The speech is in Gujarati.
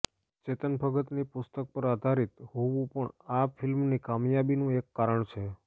ચેતન ભગતની પુસ્તક પર આધારિત હોવું પણ આ ફિલ્મની કામયાબીનું એક કારણ છે